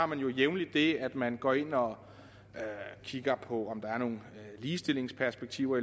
man jo jævnligt det at man går ind og kigger på om der er nogle ligestillingsmæssige